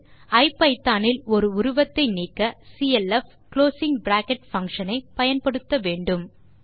ஐபிதான் இல் ஒரு உருவத்தை நீக்க சிஎல்எஃப் குளோசிங் பிராக்கெட் பங்ஷன் ஐ பயன்படுத்த வேண்டும்